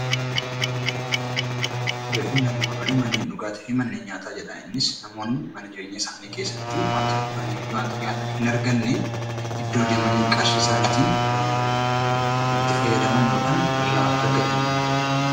Barreeffamni armaan olii 'Manneen dhugaatii fi manneen nyaataa' jedha. Innis namoonni mana jireenyaa isaanii keessatti wanta dhuganii fi wanta nyaatan hin arganne, iddoo deemanii qarshii isaaniitiin itti fayyadaman yookaan irraa argatani dha.